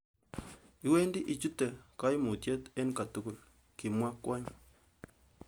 'Iwendi ichute koimutiet en kotugul,'' Kimwo kwony.